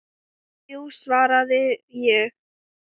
Þrjú, svaraði ég.